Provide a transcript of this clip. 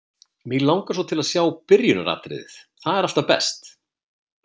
Mig langar svo til að sjá byrjunaratriðið, það er alltaf best.